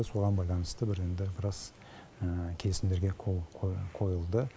соған байланысты бір енді біраз келісімдерге қол қойылды